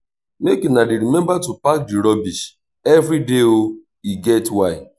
make una dey rememba to pack di rubbish everyday o e get why.